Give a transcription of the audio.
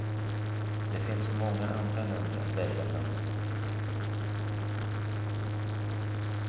Det finns så många andra länder att välja bland.